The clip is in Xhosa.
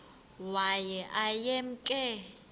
waye aye emke